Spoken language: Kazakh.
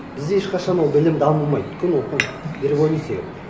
бізде ешқашан ол білім дамымайды өйткені оқу революция